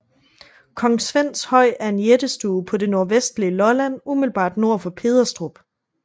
Kong Svends Høj er en jættestue på det nordvestlige Lolland umiddelbart nord for Pederstrup